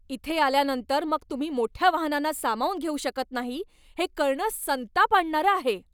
इथं आल्यांनतर मग तुम्ही मोठ्या वाहनांना सामावून घेऊ शकत नाही हे कळणं संताप आणणारं आहे.